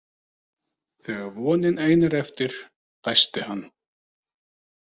Þegar vonin ein er eftir, dæsti hann.